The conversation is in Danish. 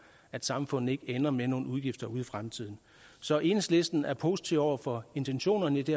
at samfundet ikke ender med nogle udgifter ude i fremtiden så enhedslisten er positive over for intentionerne i det